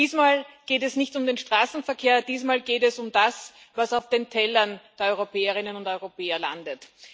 Diesmal geht es nicht um den Straßenverkehr, diesmal geht es um das, was auf den Tellern der Europäerinnen und Europäer landet.